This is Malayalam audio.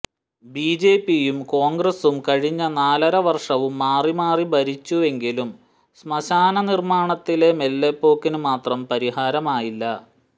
ബിജെപിയും കോണ്ഗ്രസും കഴിഞ്ഞ നാലരവര്ഷവും മാറിമാറി ഭരിച്ചുവെങ്കിലും ശ്മശാന നിര്മാണത്തിലെ മെല്ലെപ്പോക്കിന് മാത്രം പരിഹാരമായില്ല